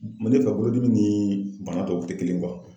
ne fɛ bolodimi ni bana tɔw tɛ kelen